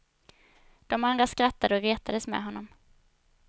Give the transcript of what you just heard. De andra skrattade och retades med honom.